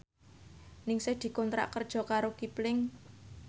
Ningsih dikontrak kerja karo Kipling